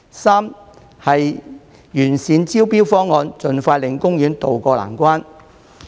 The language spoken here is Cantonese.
三是完善招標方案，盡快令公園渡過難關。